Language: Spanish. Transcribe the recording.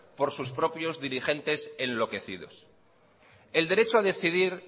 por sus propios dirigente enloquecidos el derecho a decidir